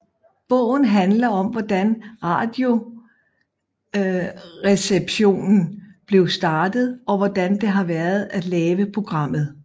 Bogen handler om hvordan Radioresepsjonen blev startet og hvordan det har været at lave programmet